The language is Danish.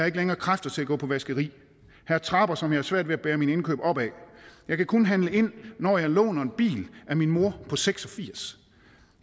ikke længere kræfter til at gå på vaskeri her er trapper som jeg har svært ved at bære mine indkøb op ad jeg kan kun handle ind når jeg låner en bil af min mor på seks og firs